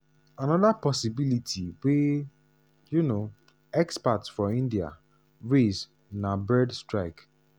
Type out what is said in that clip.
anoda possibility wey um experts for india raise na bird strike.